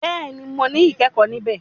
Béèni mọ ní ikẹkọ ní bẹ